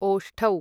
ओष्ठौ